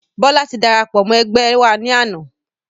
Bọlá tí darapọ̀ mọ́ ẹgbẹ́ wá ní àná